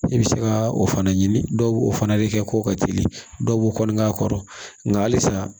I bɛ se ka o fana ɲini dɔw fana de kɛ k'o ka teli dɔw b'o kɔli k'a kɔrɔ nka halisa